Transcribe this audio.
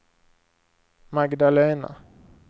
Magdalena